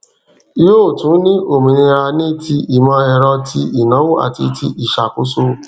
yóò tún ní òmìnira ní ti ìmọ ẹrọ ti ìnáwó àti ti ìṣàkóso